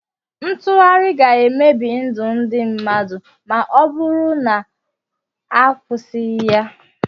Ntụgharị ga-emebi ndụ ndị mmadụ ma ọ bụrụ na a kwụsịghị ya.